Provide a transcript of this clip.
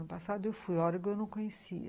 Ano passado eu fui a Oregon, eu não conhecia.